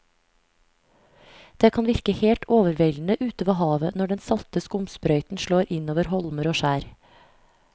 Det kan virke helt overveldende ute ved havet når den salte skumsprøyten slår innover holmer og skjær.